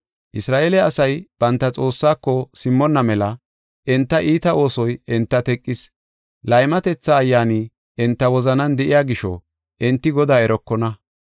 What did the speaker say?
“Isra7eele asay banta Xoossaako simmonna mela enta iita oosoy enta teqis. Laymatetha ayyaani enta wozanan de7iya gisho enti Godaa erokona.